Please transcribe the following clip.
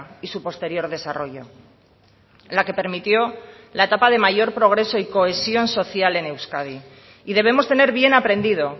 y su posterior desarrollo la que permitió la etapa de mayor progreso y cohesión social en euskadi y debemos tener bien aprendido